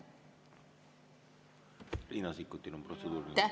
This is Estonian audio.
Riina Sikkutil on protseduuriline küsimus.